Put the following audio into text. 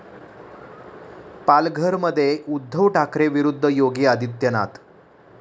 पालघरमध्ये उद्धव ठाकरे विरुद्ध योगी आदित्यनाथ